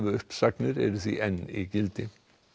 uppsagnir eru því enn í gildi